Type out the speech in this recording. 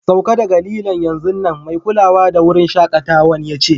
Sauka daga lilon'yanzun nan, mai kulawa da wurin shakatawan ya ce.